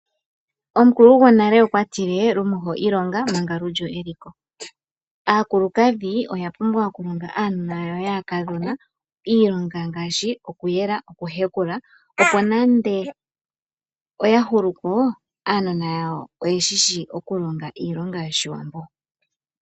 Omukulu gwonale okwa tile: "Lumoho ilonga manga lulyo e li po." Aakulukadhi oya pumbwa okulonga aanona yawo yaakadhona iilonga ngaashi okuyela, okuhekula, opo nande oya hulu po aanona yawo oye shi shi okulonga iilonga yOshiwambo.